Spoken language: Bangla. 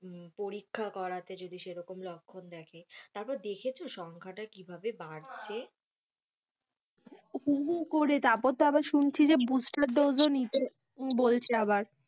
পরীক্ষা করাতে যদি সেরকম লক্ষণ দেখে তারপর দেখেছো সংখ্যাটা কিভাবে বাড়ছে? হু, হু করে তারপর আবার শুনছি যে Boostled dose নিতে বলছে আবার,